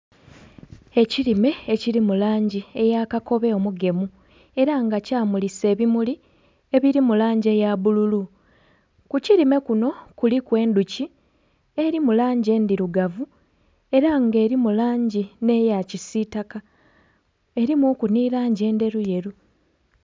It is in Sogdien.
Ekirime ekiri mu langi eya kakobe omugemu era nga kyamulisa ebimuli ebiri mu langi eya bbululu. Ku kirime kuno kuliku endhuki eri mu langi endhirugavu era nga erimu langi n'eya kisiitaka, erimuku ni langi endheruyeru.